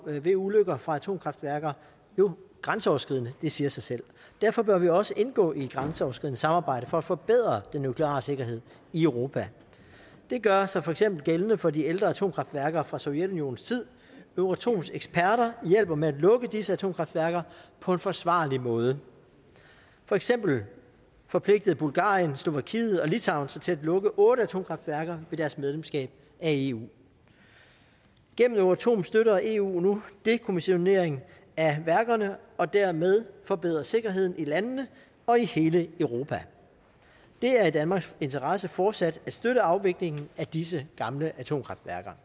ved ulykker fra atomkraftværker jo grænseoverskridende det siger sig selv derfor bør vi også indgå i et grænseoverskridende samarbejde for at forbedre den nukleare sikkerhed i europa det gør sig for eksempel gældende for de ældre atomkraftværker fra sovjetunionens tid euratoms eksperter hjælper med at lukke disse atomkraftværker på en forsvarlig måde for eksempel forpligtede bulgarien slovakiet og litauen sig til at lukke otte atomkraftværker ved deres medlemskab af eu gennem euratom støtter eu nu dekommissionering af værkerne dermed forbedre sikkerheden i landene og i hele europa det er i danmarks interesse fortsat at støtte afviklingen af disse gamle atomkraftværker